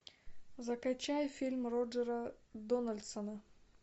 закачай фильм роджера дональдсона